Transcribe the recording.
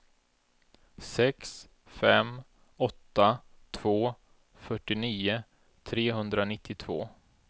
sex fem åtta två fyrtionio trehundranittiotvå